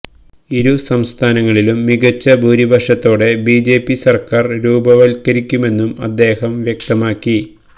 ഇരു സംസ്ഥാനങ്ങളിലും മികച്ച ഭൂരിപക്ഷത്തോടെ ബിജെപി സര്ക്കാര് രൂപവത്കരിക്കുമെന്നും അദ്ദേഹം വ്യക്തമാക്കി